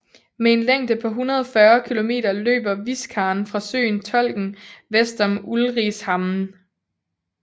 Med en længde på 140 km løber Viskan fra søen Tolken vest om Ulricehamn